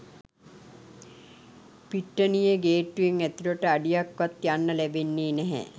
පිට්ටනියේ ගේට්ටුවෙන් ඇතුලට අඩියක් වත් යන්න ලැබෙන්නේ නැහැ